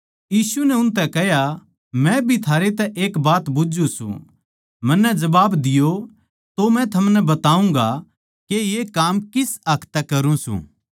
यीशु नै उनतै कह्या मै भी थारै तै एक बात बुझ्झु सूं मन्नै जबाब दियो तो मै थमनै बताऊँगा के ये काम किस हक तै करूँ सूं